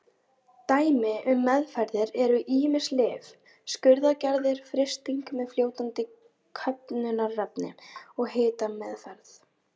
Dæmi um meðferðir eru ýmis lyf, skurðaðgerðir, frysting með fljótandi köfnunarefni og hitameðferð.